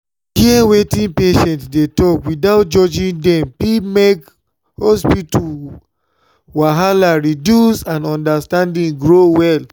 to hear wetin patients dey talk without judging dem fit make hospital wahala reduce and understanding grow well.